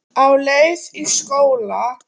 Á leið í skóla.